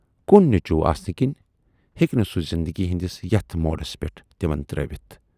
کُن نیچوٗ آسنہٕ کِنۍ ہیکہِ نہٕ سُہ زِندگی ہٕندِس یَتھ موڈس پٮ۪ٹھ تِمن ترٲوِتھ۔